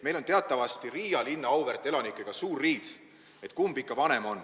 Meil on teatavasti Riia linna auväärt elanikega suur riid, et kumb on ikka vanem.